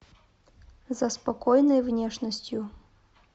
за спокойной внешностью